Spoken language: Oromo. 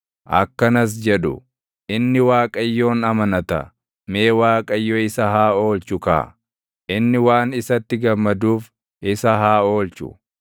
Akkanas jedhu; “Inni Waaqayyoon amanata; mee Waaqayyo isa haa oolchu kaa. Inni waan isatti gammaduuf, isa haa oolchu.”